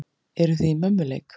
Eruð þið í mömmuleik!